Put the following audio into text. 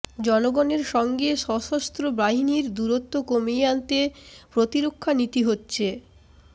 জনগণের সঙ্গে সশস্ত্র বাহিনীর দূরত্ব কমিয়ে আনতে প্রতিরক্ষা নীতি হচ্ছে